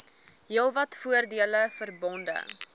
heelwat voordele verbonde